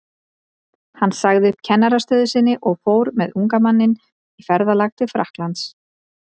Hann sagði upp kennarastöðu sinni og fór með unga manninn í ferðalag til Frakklands.